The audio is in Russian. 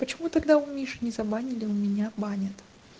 почему тогда у миши не забанили у меня банят